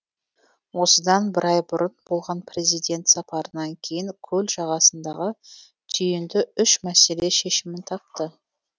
осыдан бір ай бұрын болған президент сапарынан кейін көл жағасындағы түйінді үш мәселе шешімін тапты